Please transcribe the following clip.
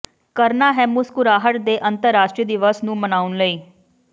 ਕਰਨਾ ਹੈ ਮੁਸਕਰਾਹਟ ਦੇ ਅੰਤਰਰਾਸ਼ਟਰੀ ਦਿਵਸ ਨੂੰ ਮਨਾਉਣ ਲਈ